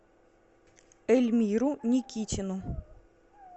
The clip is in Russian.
эльмиру никитину